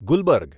Gulberg